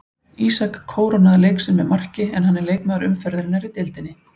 Ísak kórónaði leik sinn með marki en hann er leikmaður umferðarinnar í deildinni.